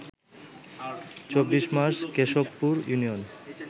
২৪ March Keshabpur union